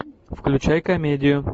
включай комедию